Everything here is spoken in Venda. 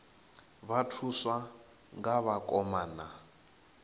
vha thuswa nga vhakoma na